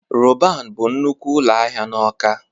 Roban bụ nnukwu ụlọ ahịa na Awka.